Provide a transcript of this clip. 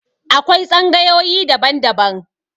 Akwai tsangayoyi daban -daban